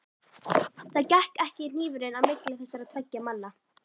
Það gekk ekki hnífurinn á milli þessara tveggja manna.